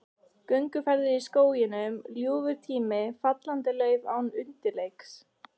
Gönguferðir í skóginum, ljúfur tími, fallandi lauf án undirleiks.